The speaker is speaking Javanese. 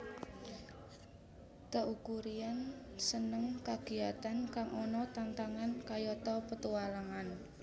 Teuku Ryan seneng kagiyatan kang ana tantangane kayata petualangan